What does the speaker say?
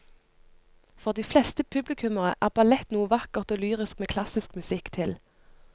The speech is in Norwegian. For de fleste publikummere er ballett noe vakkert og lyrisk med klassisk musikk til.